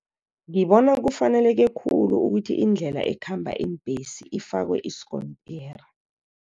Ngibona kufaneleke khulu ukuthi indlela ekhamba iimbhesi ifakwe isikontiri.